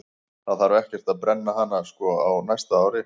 Það þarf ekkert að brenna hana sko á næsta ári.